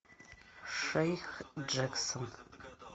шейх джексон